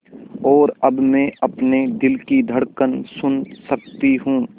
और अब मैं अपने दिल की धड़कन सुन सकती हूँ